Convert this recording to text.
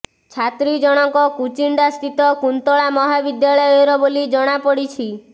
ଛାତ୍ରୀ ଜଣଙ୍କ କୁଚିଣ୍ଡା ସ୍ଥିତ କୁନ୍ତଳା ମହାବିଦ୍ୟାଳୟର ବୋଲି ଜଣାପଡିଛି